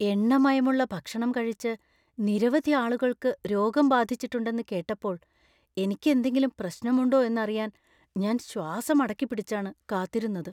എണ്ണമയമുള്ള ഭക്ഷണം കഴിച്ച് നിരവധി ആളുകൾക്ക് രോഗം ബാധിച്ചിട്ടുണ്ടെന്ന് കേട്ടപ്പോൾ എനിക്ക് എന്തെങ്കിലും പ്രശ്നമുണ്ടോ എന്നറിയാൻ ഞാൻ ശ്വാസം അടക്കിപ്പിടിച്ചാണ് കാത്തിരുന്നത്.